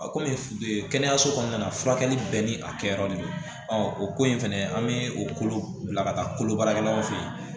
A komi kɛnɛyaso kɔnɔna na furakɛli bɛɛ ni a kɛyɔrɔ de don o ko in fɛnɛ an be kolo bila ka taa kolo baarakɛlaw fe ye